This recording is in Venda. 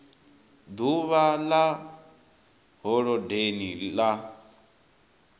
d uvha ḽa holodeni ḽa